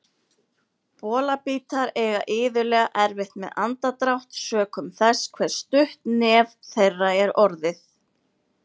Bolabítar eiga iðulega erfitt með andardrátt sökum þess hve stutt nef þeirra er orðið.